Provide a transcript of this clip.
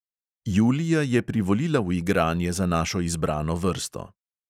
Julija je privolila v igranje za našo izbrano vrsto.